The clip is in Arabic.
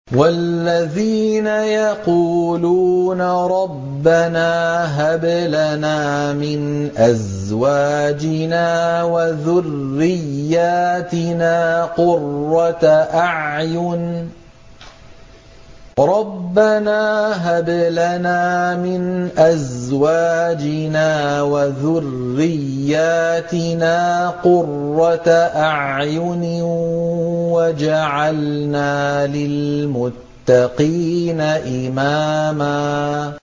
وَالَّذِينَ يَقُولُونَ رَبَّنَا هَبْ لَنَا مِنْ أَزْوَاجِنَا وَذُرِّيَّاتِنَا قُرَّةَ أَعْيُنٍ وَاجْعَلْنَا لِلْمُتَّقِينَ إِمَامًا